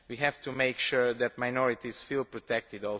We have to make sure that minorities also feel protected.